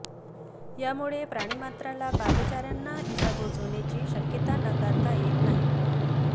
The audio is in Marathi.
यामुळे प्राणी मात्रला पादचाऱ्यांना इजा पोहोचण्याची शक्यता नाकारता येत नाही